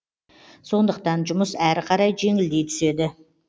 сондықтан жұмыс әрі қарай жеңілдей түседі